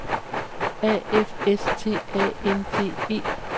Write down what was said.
A F S T A N D E